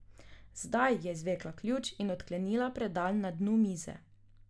Zdaj je izvlekla ključ in odklenila predal na dnu mize.